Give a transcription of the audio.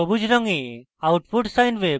সবুজ রঙে output sine wave এবং